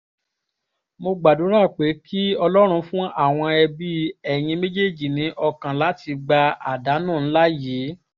mo gbàdúrà pé kí ọlọ́run fún àwọn òbí ẹ̀yin méjèèjì ní ọkàn láti gba àdánù ńlá yìí